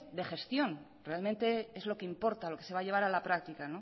de gestión realmente es lo que importa lo que se va a llevar a la práctica